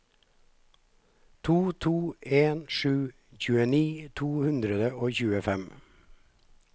to to en sju tjueni to hundre og tjuefem